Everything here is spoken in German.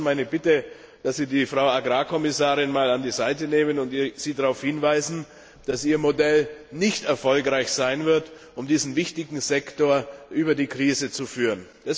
Und da wäre meine Bitte an Sie, dass Sie die Frau Agrarkommissarin mal auf die Seite nehmen und sie darauf hinweisen, dass ihr Modell nicht erfolgreich sein wird, um diesen wichtigen Sektor aus der Krise zu führen.